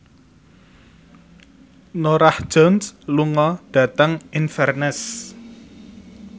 Norah Jones lunga dhateng Inverness